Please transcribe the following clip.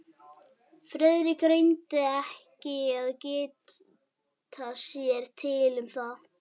Friðrik reyndi ekki að geta sér til um það.